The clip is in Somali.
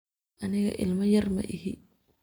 Aniga ilma yar maixi.